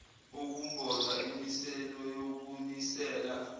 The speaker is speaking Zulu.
ukumboza imisele yokunisela